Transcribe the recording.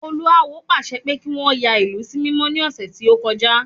Olú awo pàṣẹ pé kí wọ́n yà ìlú sí mímọ́ ní ọ̀sẹ̀ tí ọ́kọjá